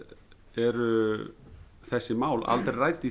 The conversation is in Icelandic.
eru þessi mál aldrei rædd í